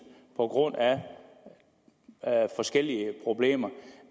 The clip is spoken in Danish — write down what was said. på grund af forskellige problemer